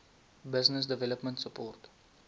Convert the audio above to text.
business development support